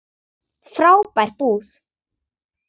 Frábær búð.